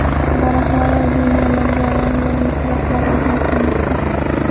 Daraxtlar va binolarga rang-barang chiroqlar o‘rnatilmoqda.